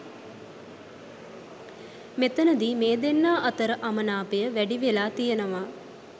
මෙතැනදී මේ දෙන්නා අතර අමනාපය වැඩි වෙලා තියනවා.